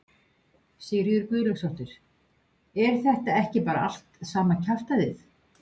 Sigríður Guðlaugsdóttir: Er þetta ekki bara allt sama kjaftæðið?